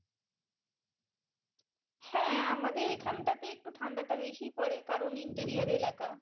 হ্যাঁ আমাদের এখানটাতে একটু ঠান্ডাটা বেশি পরে কারণ এলাকা